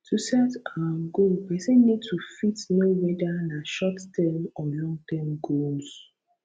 to set um goal person need to fit know whether na shortterm or longterm goals